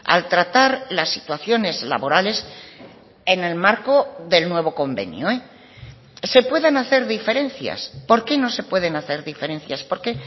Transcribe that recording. al tratar las situaciones laborales en el marco del nuevo convenio se pueden hacer diferencias por qué no se pueden hacer diferencias porque